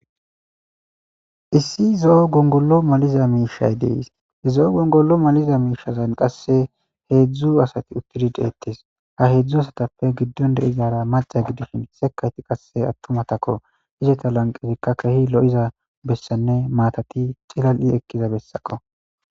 issi zo7o gongollo maliza miishay dees hezo7o gongollo maliza miishazan qasse heedzdzu asati uttidi deettes ha heedzdzu asatappe giddon deizara maca gidishin sekayti qasse attumatakko iseta lanqesikka kehi lo7iza bessanne maatati cilal7i ekkiza bessako